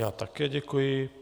Já také děkuji.